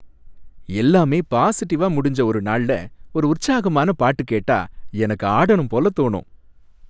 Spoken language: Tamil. எல்லாமே பாசிடிவா முடிஞ்ச ஒரு நாள்ல ஒரு உற்சாகமான பாட்டு கேட்டா எனக்கு ஆடனும் போல தோணும்.